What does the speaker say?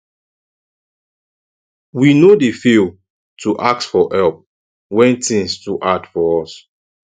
we no dey fail to ask for help when tins too hard for us